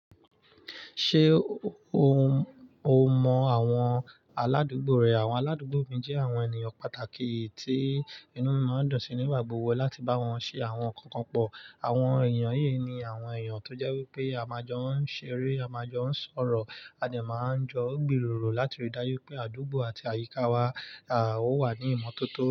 Ṣé o mọ àwọn aládùúgbò rẹ? Àwọn aládùúgbò mi jẹ́ àwọn ènìyàn pàtàkì tí inú máa ń dùn sí nígbà gbogbo láti bá wọn ṣe àwọn ǹkan kan pọ̀. Àwọn ènìyàn yìí ni àwọn èeyàn tó jẹ́ wípé a máa jọ ń ṣeré, a máa jọ ń sọ̀rọ̀, a dẹ̀ máa ń jọ gbìròrò láti rí dájú pé àdúgbò àti àyíká wa, à, ó wà ní ìmọ́tótó.